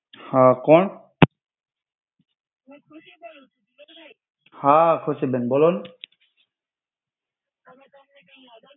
હા, કોન? હા ખુશિ બેન બોલો ને!